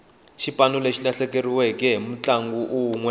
xipano xi lahlekeriwe hi mutlangi unwe